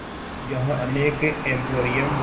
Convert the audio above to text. यहाँ अनेक एंपोरियम